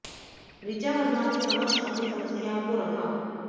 ऋचा वर्मा के समक्ष अपनी समस्याओं को रखा